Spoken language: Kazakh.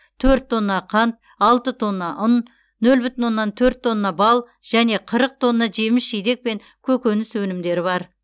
төрт тонна қант алты тонна ұн нөл бүтін оннан төрт тонна бал және қырық тонна жеміс жидек пен көкөніс өнімдері бар